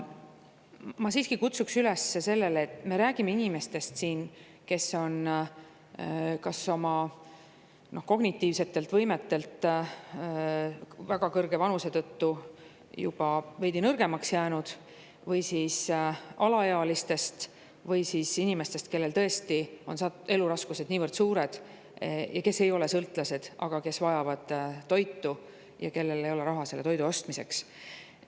Ma siiski kutsuksin üles rääkima inimestest, kelle kognitiivsed võimed on väga kõrge vanuse tõttu juba veidi nõrgemaks jäänud, alaealistest ja ka nendest inimestest, kellel eluraskused on tõesti niivõrd suured ja kes ei ole sõltlased, aga kes vajavad toitu ja kellel ei ole raha toidu ostmiseks.